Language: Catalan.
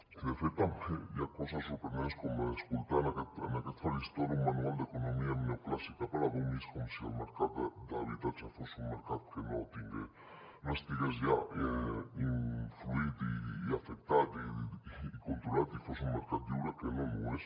i de fet també hi ha coses sorprenents com escoltar en aquest faristol un manual d’economia neoclàssica per a dummies com si el mercat de l’habitatge fos un mercat que no estigués ja influït i afectat i controlat i fos un mercat lliure que no ho és